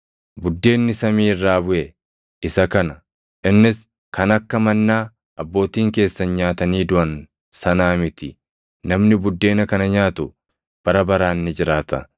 Buddeenni samii irraa buʼe isa kana; innis kan akka mannaa Abbootiin keessan nyaatanii duʼan sanaa miti; namni buddeena kana nyaatu bara baraan ni jiraata.”